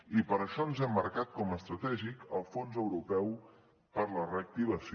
i per això ens hem marcat com a estratègic el fons europeu per a la reactivació